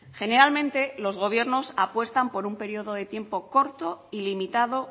generalmente los gobiernos apuestan por un periodo de tiempo corto y limitado